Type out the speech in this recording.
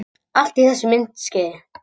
Allt í þessu myndskeiði